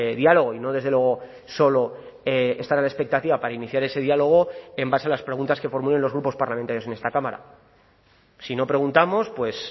diálogo y no desde luego solo estar a la expectativa para iniciar ese diálogo en base a las preguntas que formulen los grupos parlamentarios en esta cámara si no preguntamos pues